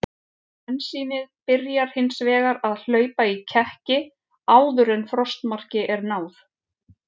Bensínið byrjar hins vegar að hlaupa í kekki áður en frostmarki er náð.